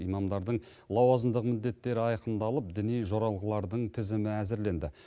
имамдардың лауазымдық міндеттері айқындалып діни жоралғылардың тізімі әзірленді